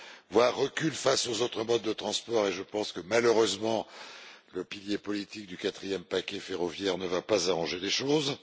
voire recul, du rail face aux autres modes de transport et je pense que malheureusement, le pilier politique du quatrième paquet ferroviaire ne va pas arranger les choses